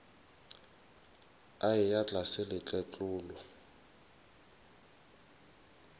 a eya tlase le tletlolo